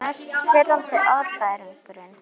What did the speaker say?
Mest pirrandi andstæðingurinn?